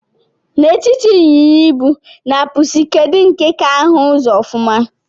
Na etiti inyịnya-ibu na pusi, kedu nke ka ahu uzọ ofuma?